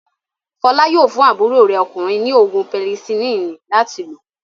Fọlá yóò fún àbúrò rẹ̀ ọkùnrin ní òògùn pẹnisilínì láti lò.